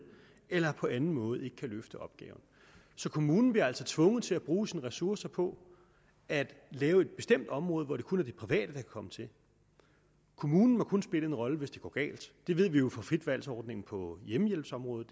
eller på anden måde ikke kan løfte opgaven så kommunen bliver også tvunget til at bruge sine ressourcer på at lave et bestemt område hvor det kun er de private der kan komme til kommunen må kun spille en rolle hvis det går galt det ved vi jo fra frit valg ordningen på hjemmehjælpsområdet